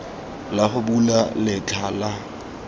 la go bula letlha la